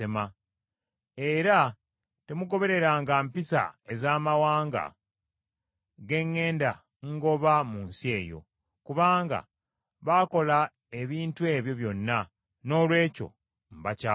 Era temugobereranga mpisa ez’amawanga ge ŋŋenda ngoba mu nsi eyo; kubanga baakola ebintu ebyo byonna, noolwekyo mbakyawa nnyo.